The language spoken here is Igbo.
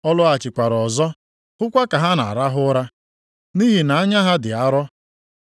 Ọ lọghachikwara ọzọ hụkwa ka ha na-arahụ ụra, nʼihi na anya ha dị arọ.